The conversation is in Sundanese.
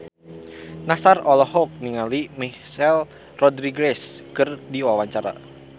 Nassar olohok ningali Michelle Rodriguez keur diwawancara